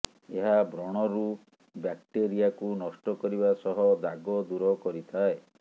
ଏହା ବ୍ରଣରୁ ବ୍ଯାକ୍ଟେରିଆକୁ ନଷ୍ଟ କରିବା ସହ ଦାଗ ଦୂର କରିଥାଏ